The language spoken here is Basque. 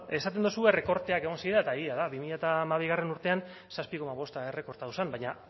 esaten duzue errekorteak egon zirela eta egia da bi mila hamabigarrena urtean zazpi koma bosta errekortatu zen baina